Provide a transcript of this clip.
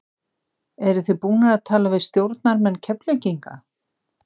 Eru þið búnir að tala við stjórnarmenn Keflvíkinga?